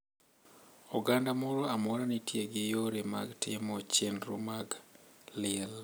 Oganda moro amora nitie gi yore mag timo chenro mag liel.